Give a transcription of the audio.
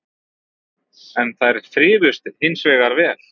En þær þrifust hins vegar vel